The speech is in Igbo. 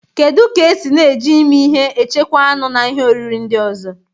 Kedu ka esi na-eji imi ihe echekwaa anụ na ihe oriri ndị ọzọ?